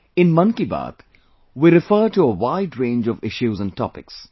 in Mann Ki Baat, we refer to a wide range of issues and topics